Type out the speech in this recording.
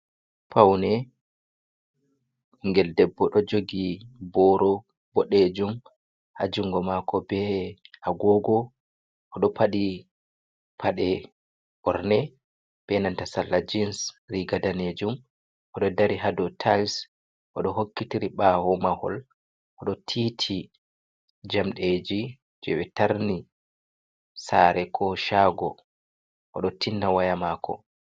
Paune, ɓingel debbo ɗo jogi boro boɗe jum ha jungo mako be agogo, oɗo paɗi paɗe ɓorne be nanta salla jens riga danejum, oɗo dari ha dow tils, oɗo hokkitiri ɓawo mahol, oɗo tiiti jamɗeji je ɓe tarni sare ko chago, oɗo tinna waya mako.